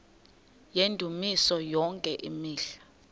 yendumiso yonke imihla